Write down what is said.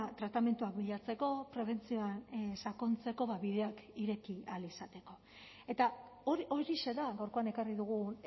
tratamenduak bilatzeko prebentzioan sakontzeko bideak ireki ahal izateko eta horixe da gaurkoan ekarri dugun